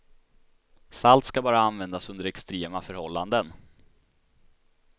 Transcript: Salt ska bara användas under extrema förhållanden.